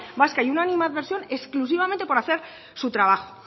vasca y una animadversión exclusivamente por hacer su trabajo